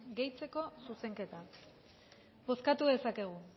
gehitzeko zuzenketa bozkatu dezakegu